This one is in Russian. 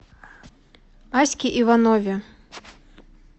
аське иванове